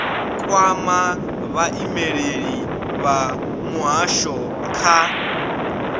kwame vhaimeleli vha muhasho kha